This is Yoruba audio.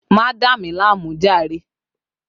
Má dà mí láàmú jàre!